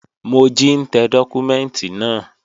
Mojí ń tẹ dọ́kúmẹ́ǹtì náà